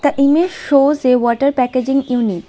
The image shows a water packaging unit.